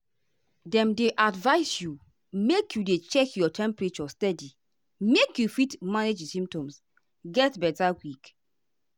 dem dey advise you make you dey check your temperature steady make you fit manage di symptoms get beta quick.